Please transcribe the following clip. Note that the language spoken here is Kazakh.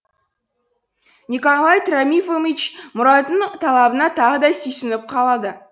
николай тромифомич мұраттың талабына тағы да сүйсініп қалады